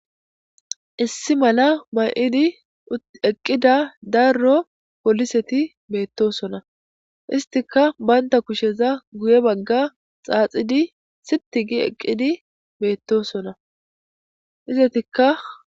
issi mala may7idi eqqida daro poliseti meettosona istika baynta kusheza guye bagga xaaxidi siti gi eqqidi beettosona izetika.